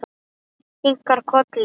Kinkar kolli.